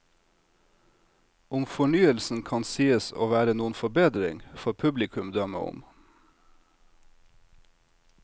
Om fornyelsen kan sies å være noen forbedring, får publikum dømme om.